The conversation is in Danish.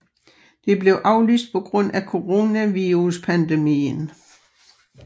Det blev aflyst på grund af coronaviruspandemien